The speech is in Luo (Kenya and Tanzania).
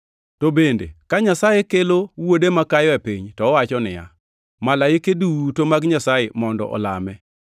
To bende, ka Nyasaye kelo Wuode makayo e piny to owacho niya, “Malaike duto mag Nyasaye mondo olame.” + 1:6 \+xt Rap 32:43\+xt*